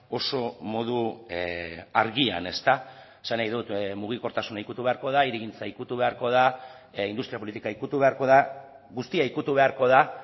oso modu argian esan nahi dut mugikortasuna ikutu beharko da hirigintza ikutu beharko da industria politika ikutu beharko da guztia ikutu beharko da